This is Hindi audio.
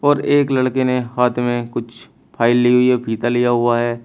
और एक लड़के ने हाथ में कुछ फाइल लि हुई है फीता लिया हुआ है।